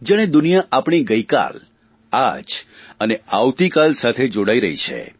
જાણે દુનિયા આપણી ગઇકાલ આજ અને આવતીકાલ સાથે જોડાઇ રહી છે